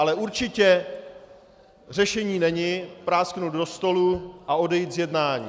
Ale určitě řešení není prásknout do stolu a odejít z jednání.